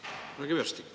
Härra Kivastik!